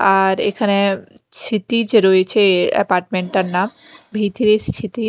আর এখানে সিতিজ রয়েছে অ্যাপার্টমেন্ট -এর নাম